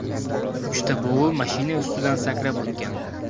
Uchta bug‘u mashina ustidan sakrab o‘tgan.